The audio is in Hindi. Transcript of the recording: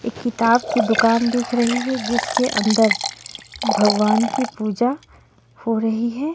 एक किताब की दूकान दिख रही हैं जिसके अंदर भगवान की पूजा हो रही हैं।